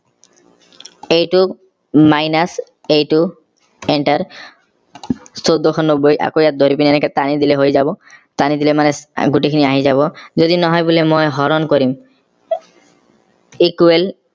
এইটো minus এইটো enter চৌধ্বশ নব্বৈ অকৌ ইয়াত ধৰিপিনে এনেকে টানি দিলে হৈ যাব টানি দিলে গোটেই খিনি আহি যাব যদি নহয় বোলে মই বোলে হৰণ কৰিম equal